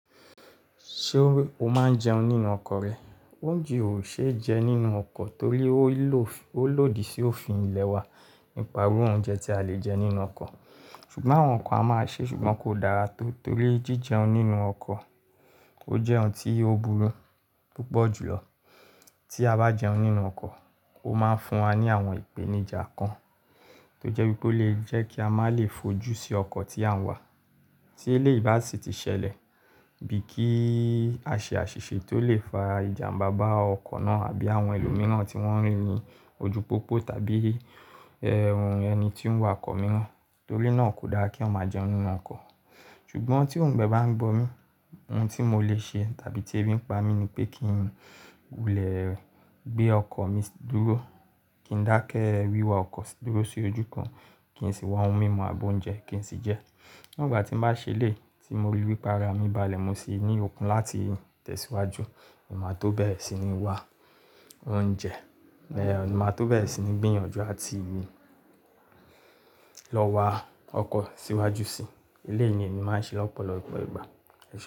Ṣé o máa ń jẹun nínú ọkọ̀ rẹ? Oúnjẹ ò ṣe jẹ nínú ọkọ̀ torí ó lòdì sí òfin ilẹ̀ wa nípa irú óúnjẹ tí a lè jẹ nínú ọkọ̀. Ṣùgbọ́n àwọn kàn a máa ṣe ṣùgbọ́n kò dára tó torí jíjẹun nínú ọkọ̀ ó jẹ́ ohun tí ó burú púpọ̀ jùlọ. Tí a bá jẹun nínú ọkọ̀, ó máa ń fún wa ní àwọn ìpèníjà kan tó jẹ́ wípé ó lè jẹ́ kí a má lè fojú sí ọkọ̀ tí à ń wà. Tí eléyìí bá ṣì ti ṣẹlẹ̀ bíi kíì a ṣe àṣìṣe tó lè fa ìjàmbá bá ọkọ̀ náà àbí àwọn ẹlòmíràn tí wọ́n rí ní ojú pópó tàbí ẹni tí ó ń wa ọkọ̀ mìíràn torí náà kò dáa kí èyán máa jẹun nínú ọkọ̀. Ṣùgbọ́n tí oungbẹ bá ń gbọ́ mi, ohun tí mọ lè ṣe tàbí tí ẹbí ń pa mí ni pé kí n lè gbé ọkọ̀ mi dúró, kí n dákẹ́ wíwa ọkọ̀ sí dúró sí ojú kan kí n ṣì wa ohun mímu àbọ́ oúnjẹ kí n ṣì jẹẹ́. Nígbà tín bá ṣẹlẹ̀, tí mo ríi wípé ara mi balẹ̀, mo ṣì ní òkun láti tẹ̀síwájú, mọ máa tó bẹ̀rẹ̀ sí ní wá oúnjẹ, máa tó bẹ̀rẹ̀ sí ní gbìyànjú àti lọ wa ọkọ̀ síwájú síi. Eléyìí ni ẹni máa ń ṣe lọ́pọ̀lọpọ̀ ìgbà.